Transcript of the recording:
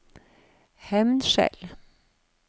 Hemnskjel